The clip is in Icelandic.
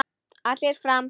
Allir fram!